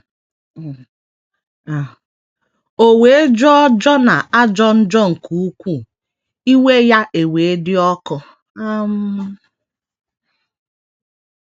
“ O wee jọọ Jona ajọ njọ nke ukwuu, iwe ya ewee dị ọkụ. ” um